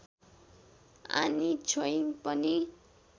आनी छोइङ पनि